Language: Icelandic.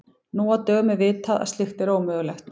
Nú á dögum er vitað að slíkt er ómögulegt.